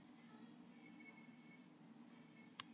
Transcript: Forliðurinn kol- er oft notaður í samsettum orðum til áherslu.